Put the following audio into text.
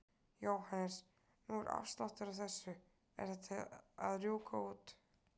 Jóhannes: Nú er afsláttur á þessu, er þetta að rjúka út?